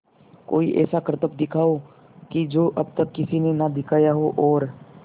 कोई ऐसा करतब दिखाओ कि जो अब तक किसी ने ना दिखाया हो और